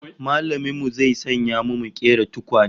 Mallamin mu zai sanya mu mu kera tukwane